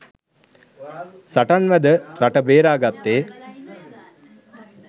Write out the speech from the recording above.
සටන් වැද රට බේරාගත්තේ